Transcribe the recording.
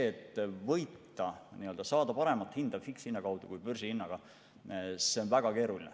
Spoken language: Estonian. Et võita ja saada fikshinna kaudu paremat hinda kui börsihinnaga – see on väga keeruline.